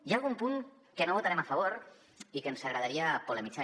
hi ha algun punt que no hi votarem a favor i que ens hi agradaria polemitzar